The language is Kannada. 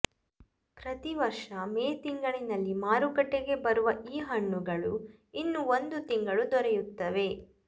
ಪ್ರತಿ ವರ್ಷ ಮೇ ತಿಂಗಳಿನಲ್ಲಿ ಮಾರುಕಟ್ಟೆಗೆ ಬರುವ ಈ ಹಣ್ಣುಗಳು ಇನ್ನು ಒಂದು ತಿಂಗಳು ದೊರೆಯುತ್ತವೆ